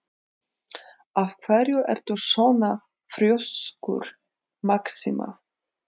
Af hverju ertu svona þrjóskur, Maxima?